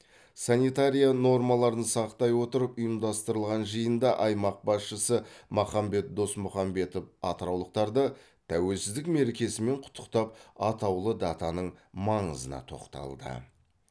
санитария нормаларын сақтай отырып ұйымдастырылған жиында аймақ басшысы махамбет досмұхамбетов атыраулықтарды тәуелсіздік мерекесімен құттықтап атаулы датаның маңызына тоқталды